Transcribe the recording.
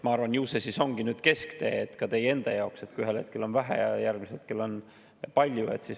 Ma arvan, et ju see siis ongi nüüd kesktee ka teie enda jaoks, kui ühel hetkel on vähe ja järgmisel hetkel on palju.